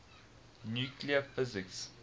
nuclear physics